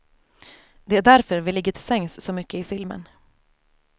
Det är därför vi ligger till sängs så mycket i filmen.